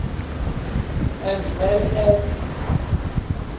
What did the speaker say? as well as